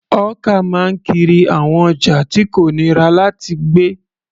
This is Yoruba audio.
Hawker máa ń kiri àwọn ọjà tí kò nira láti gbé.